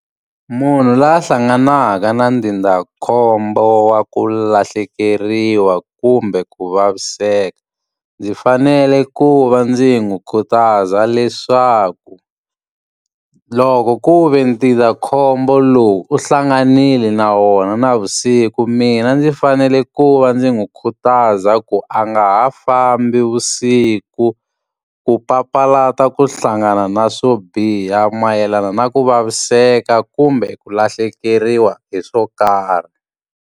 Munhu la hlanganaka na ndzindzakhombo wa ku lahlekeriwa kumbe ku vaviseka, ndzi fanele ku va ndzi n'wi khutaza leswaku loko ku ve ndzindzakhombo lowu u hlanganile na wona navusiku mina ndzi fanele ku va ndzi n'wi khutaza ku a nga ha vusiku. Ku papalata ku hlangana na swo biha mayelana na ku vaviseka kumbe ku lahlekeriwa hi swo karhi.